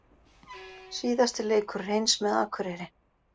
Síðasti leikur Hreins með Akureyri